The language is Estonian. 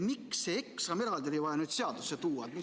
Miks oli see eksam eraldi vaja seadusse tuua?